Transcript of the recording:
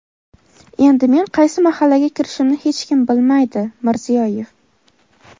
Endi men qaysi mahallaga kirishimni hech kim bilmaydi – Mirziyoyev.